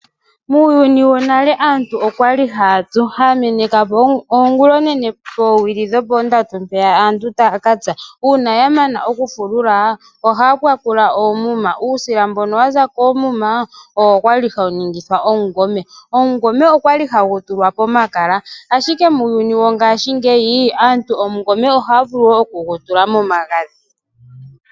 Muuyuni wo nale aantu okwali haya tsu, haya meneka owili dhongula onene owili dhoopondatu yaka tse, uuna ya mana okufulula ohaya kwakula oomuma, uusila mbono waza koomuma owo kwali hawu ningithwa Oshikwiila. Oshikwiila okwali hashi tulwa pomakala, ashike muuyuni wo ngaashingeyi aantu oshikwiila ohaya vulu wono okushi tula momagadhi/ kanga.